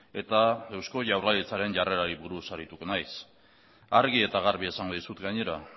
eta eusko jaurlaritzaren jarrerari buruz arituko naiz argi eta garbi esango dizut gainera